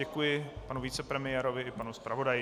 Děkuji panu vicepremiérovi i panu zpravodaji.